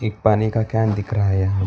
एक पानी का कैन दिख रहा है।